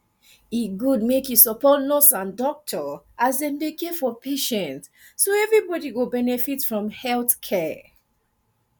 e good make you support nurse and doctor as dem dey care for patient so everybody go benefit from health care